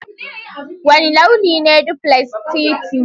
Wane launi ne duplex Titi?